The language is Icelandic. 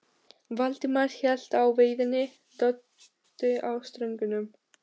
Valdimar hélt á veiðinni, Böddi á stöngunum.